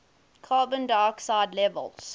carbon dioxide levels